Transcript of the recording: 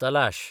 तलाश